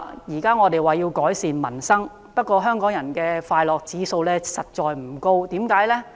現在政府要改善民生，不過香港人的快樂指數實在不高，為何呢？